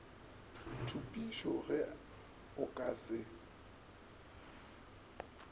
thupišo ge o ka se